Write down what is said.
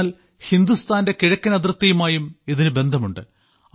എന്നാൽ ഹിന്ദുസ്ഥാന്റെ കിഴക്കൻ അതിർത്തിയുമായും ഇതിന് ബന്ധമുണ്ട്